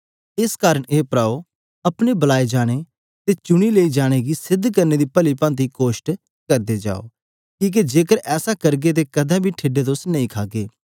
एस कारन हे भ्राओ अपने बलाए जाने अते चुनी लेई जाने गी सिध्द करने दा पली भांति यत्न करदे जाओ कीहके जेकर ऐसा करगे अते कदें बी ठेडे नां तुस खागे